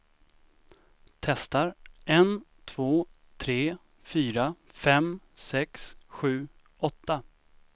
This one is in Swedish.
Testar en två tre fyra fem sex sju åtta.